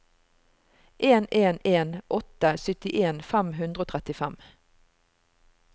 en en en åtte syttien fem hundre og trettifem